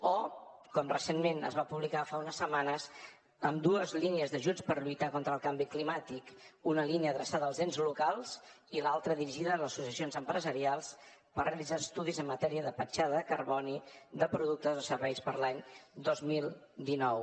o com recentment es va publicar fa unes setmanes amb dues línies d’ajuts per lluitar contra el canvi climàtic una línia adreçada als ens locals i l’altra dirigida a les associacions empresarials per realitzar estudis en matèria de petjada de carboni de productes o serveis per a l’any dos mil dinou